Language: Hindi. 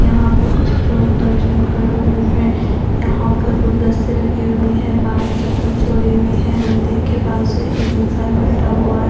यहां पर कुछ लोग दर्शन कर रहे हैं यहां पर गुलदस्ते रखे हुए हैं बाहर चप्पल चोरी हुई हैं मंदिर के पास से एक इंसान बैठा हुआ है।